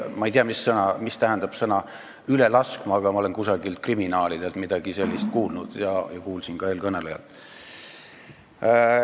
Ma ei tea, mida tähendab väljend "üle laskma", aga ma olen kriminaalidelt midagi sellist kuulnud ja kuulsin ka eelkõnelejalt.